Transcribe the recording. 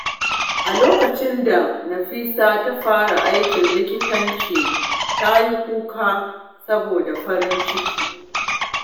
A lokacin da Nafisa ta fara aikin likitanci, ta yi kuka saboda farin ciki.